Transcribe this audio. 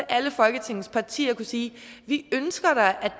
alle folketingets partier kunne sige vi ønsker da at